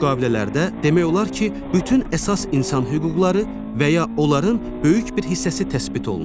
Bu müqavilələrdə demək olar ki, bütün əsas insan hüquqları və ya onların böyük bir hissəsi təsbit olunur.